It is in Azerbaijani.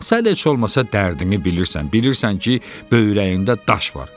Sən heç olmasa dərdini bilirsən, bilirsən ki, böyrəyində daş var.